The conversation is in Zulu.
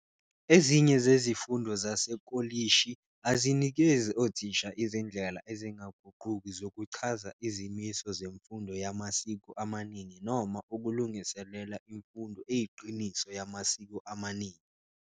Ezinye zezifundo zasekolishi azinikezi othisha izindlela ezingaguquki zokuchaza izimiso zemfundo yamasiko amaningi noma ukulungiselela imfundo eyiqiniso yamasiko amaningi.